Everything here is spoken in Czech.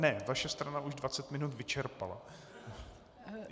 Ne, vaše strana již dvacet minut vyčerpala.